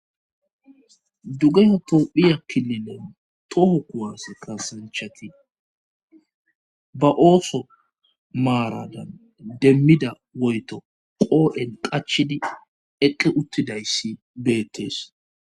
Duge otoophiya kilinen toho kuwase kasanchati ba ooso maaradan demmida woyto qoodhen qachidi eqqe uttidayssi beettees